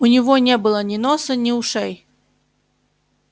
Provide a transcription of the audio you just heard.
у него не было ни носа ни ушей